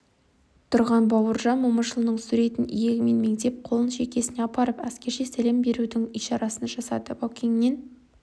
тұрған бауыржан момышұлының суретін иегімен меңзеп қолын шекесіне апарып әскерше сәлем берудің ишарасын жасады баукеңнен